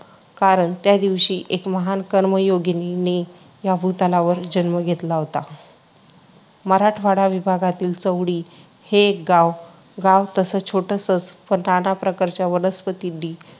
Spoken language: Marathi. कारण त्या दिवशी एका महान कर्मयोगिनी ने या भूतलावर जन्म घेतला होता. मराठवाडा विभागातील चौंडी हे एक गाव. गाव तसं छोटंसंच, पण नाना प्रकारच्या वनस्पतींनी